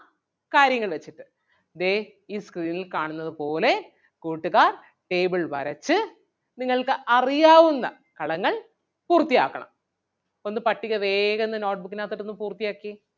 കാര്യങ്ങള് ദേ ഈ screen ൽ കാണുന്നത് പോലെ കൂട്ടുകാർ table വരച്ച് നിങ്ങൾക്ക് അറിയാവുന്ന കളങ്ങൾ പൂർത്തി ആക്കണം, ഒന്ന് പട്ടിക വേഗന്ന് note book നാത്തോട്ട് ഒന്ന് പൂർത്തി ആക്കിയേ.